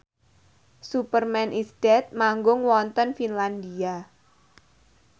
Superman is Dead manggung wonten Finlandia